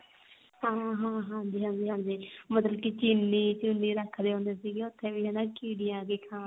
ਹਾਂ ਹਾਂ ਹਾਂਜੀ ਹਾਂਜੀ ਹਾਂਜੀ ਮਤਲਬ ਕੀ ਚੀਨੀ ਚੁੰਨੀ ਰੱਖਦੇ ਹੁੰਦੇ ਸੀਗੇ ਉੱਥੇ ਵੀ ਕੀੜੀਆਂ ਆਕੇ